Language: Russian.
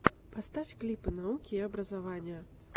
поставь клипы науки и образования